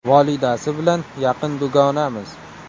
Volidasi bilan yaqin dugonamiz.